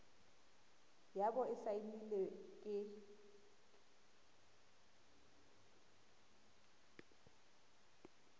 ya bo e saenilwe ke